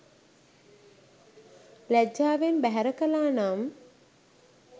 ලැජ්ජාවෙන් බැහැර කළා නම්